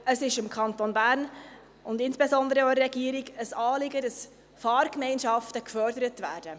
Es ist dem Kanton Bern und insbesondere auch der Regierung ein Anliegen, dass Fahrgemeinschaften gefördert werden.